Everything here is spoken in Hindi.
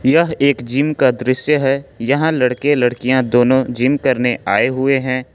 यह एक जिम का दृश्य है यहां लड़के-लड़कियां दोनों जिम करने आए हुए हैं।